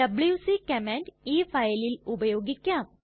WC command ഈ ഫയലിൽ ഉപയോഗിക്കാം